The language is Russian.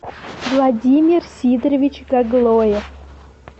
владимир сидорович гаглоев